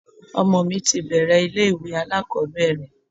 Ọmọ mi ti bẹ̀ẹ̀rẹ̀ ilé ìwé alákọ̀ọ́bẹ̀rẹ̀.